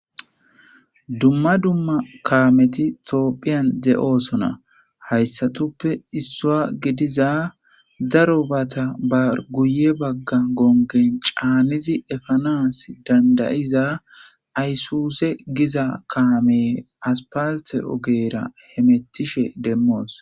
dumma dumma kaameti toophphiyan ze7oosona hayssatoppe issoa gidiza daro bata bar guye bagga gongen caanizi efanas dandayiza ayssuse giza kaame as palte ogeera he mettishe demmoos